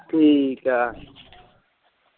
ਠੀਕ ਏ।